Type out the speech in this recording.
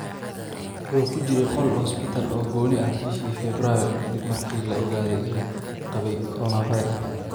Wuxuu ku jiray qol hospital oo gooni ah bishii Febraayo kadib markii la ogaaday inuu qabay coronavirus.